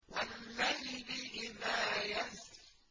وَاللَّيْلِ إِذَا يَسْرِ